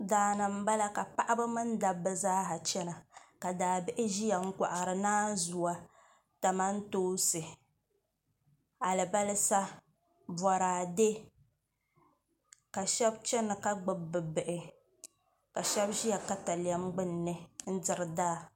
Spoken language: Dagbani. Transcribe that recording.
Daani n bala ka paɣaba mini dabba zaa chɛna ka daabihi ʒiya n kohari naanzuwa kamantoosi alibarisa boraadɛ ka shab chɛna ka gbubi bi bihi ka shab ʒiya katalɛm gbunni n diri daa